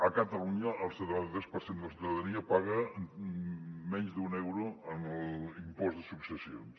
a catalunya el setanta tres per cent de la ciutadania paga menys d’un euro en l’impost de successions